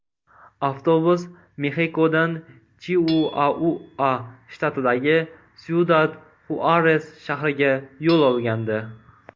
Avtobus Mexikodan Chiuaua shtatidagi Syudad-Xuares shahriga yo‘l olgandi.